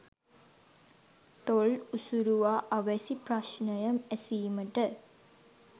තොල් උසුරුවා අවැසි ප්‍රශ්නය ඇසීමට